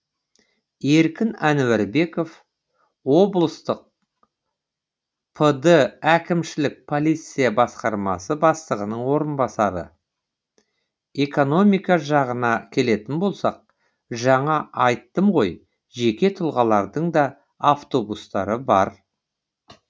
еркін ануарбеков облыстық пд әкімшілік полиция басқармасы бастығының орынбасары экономика жағына келетін болсақ жаңа айттым ғой жеке тұлғалардың да автобустары бар